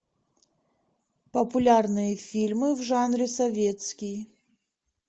популярные фильмы в жанре советский